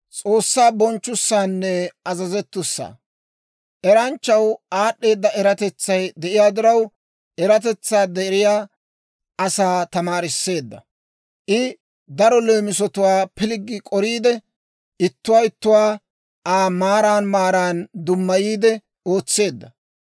Eranchchaw aad'd'eeda eratetsay de'iyaa diraw, eratetsaa deriyaa asaa tamaarisseedda. I daro leemisatwaa pilggi k'oriide, ittuwaa ittuwaa Aa maaran maaran dummayiide ootseedda.